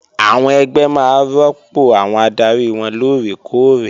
Àwọn ẹgbẹ́ máa rọ́pò àwọn adarí wọn lóòrè kóòrè